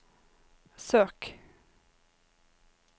søk